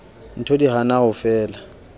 ntho di hana ho fela